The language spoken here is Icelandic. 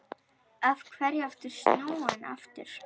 Af hverju ertu snúinn aftur?